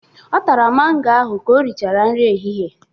Ọ tara mango ahụ ka o rịchara nri ehịhịe.